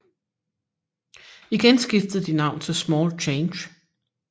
Igen skiftede de navn til Small Change